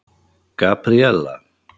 Gabríella